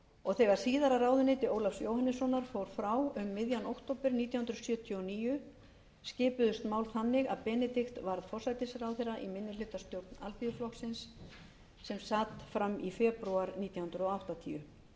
og þegar síðara ráðuneyti ólafs jóhannessonar fór frá um miðjan október nítján hundruð sjötíu og níu skipuðust mál þannig að benedikt varð forsætisráðherra í minnihlutastjórn alþýðuflokksins sem sat fram í febrúar nítján hundruð áttatíu